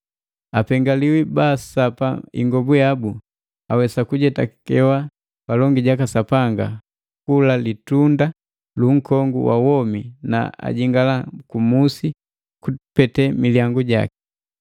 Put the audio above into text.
Apengaliwi baasapa ingobu yabu, awesa kujetakewa palongi jaka Sapanga kula litunda lu nkongu wa womi na ajingala ku musi kupete milyangu jaki.